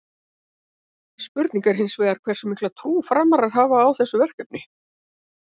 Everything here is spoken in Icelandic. Spurning er hins vegar hversu mikla trú Framarar hafa á þessu verkefni?